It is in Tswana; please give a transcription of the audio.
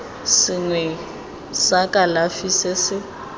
sengwe sa kalafi se se